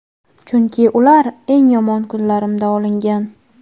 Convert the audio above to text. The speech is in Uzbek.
Chunki ular eng yomon kunlarimda olingan.